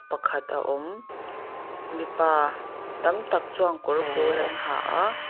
pakhat a awm mipa tam tak chuan kawr pawl an ha a.